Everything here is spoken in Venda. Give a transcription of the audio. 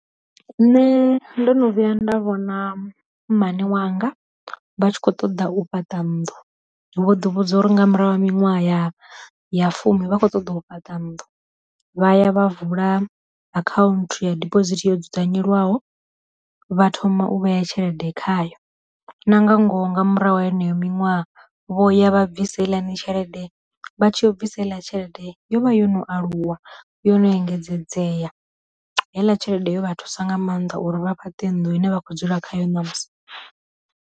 Nṋe ndo no vhuya nda vhona mmane wanga vha tshi kho ṱoḓa u fhaṱa nnḓu, vho ḓi vhudza uri nga murahu ha miṅwaha ya ya fumi vha kho ṱoḓa u fhaṱa nnḓu, vhaya vha vula akhaunthu ya diphosithi yo dzudzanyelwaho vha thoma u vhea tshelede khayo, na nga ngoho nga murahu ha yeneyo miṅwaha vho ya vha bvisa heiḽani tshelede, vha tshi ya u bvisa heiḽa tshelede, yo vha yo no aluwa yo no engedzedzea, heiḽa tshelede yo vha thusa nga maanḓa uri vha fhaṱe nnḓu ine vha khou dzula khayo na musi.